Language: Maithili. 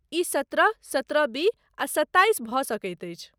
ई सत्रह, सत्रहबी आ सत्ताइस भऽ सकैत अछि।